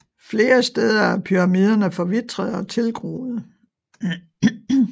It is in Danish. Flere steder er pyramidene forvitrede og tilgroede